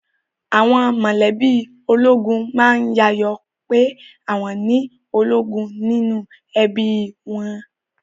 Àwọn mọ̀lẹ́bí ológun má ń yayọ̀ ọ pé àwọn ni ológun nínú ẹbí i wọn